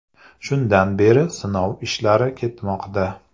Shundan beri sinov ishlari ketmoqda.